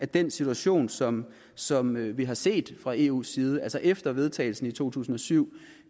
den situation som som vi har set fra eus side altså efter vedtagelsen i to tusind og syv